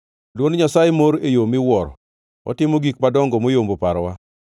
Dwond Nyasaye mor e yo miwuoro; otimo gik madongo moyombo parowa.